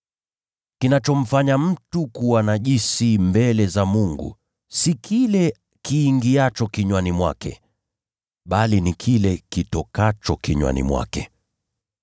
kinachomfanya mtu kuwa najisi mbele za Mungu si kile kiingiacho kinywani mwake, bali ni kile kitokacho kinywani mwake.”